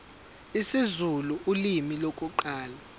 isizulu ulimi lokuqala